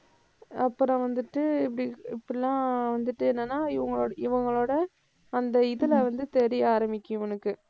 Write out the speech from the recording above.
அப்புறம் வந்துட்டு இப்படி, இப்படி எல்லாம் வந்துட்டு என்னன்னா இவங்களோட, இவங்களோட அந்த இதில வந்து தெரிய ஆரம்பிக்கும் இவனுக்கு.